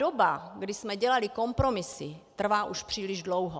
Doba, kdy jsme dělali kompromisy, trvá už příliš dlouho.